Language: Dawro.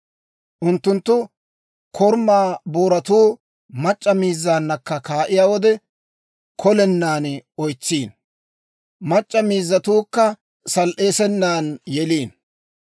Unttunttu koruma booratuu mac'c'a miizzaana gakketiyaa wode, kolenan oytsiino; mac'c'a miizzatuukka sal"eesenan yeliino.